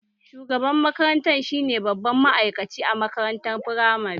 Shugaban makaranta shi ne babban ma'aikaci a makarantar firamare